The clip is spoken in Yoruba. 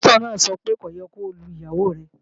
Páṣítọ̀ náà sọ pé ko yé lu ìyàwó rẹ